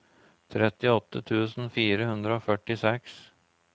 trettiåtte tusen fire hundre og førtiseks